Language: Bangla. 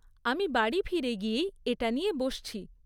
আমি বাড়ি ফিরে গিয়েই এটা নিয়ে বসছি।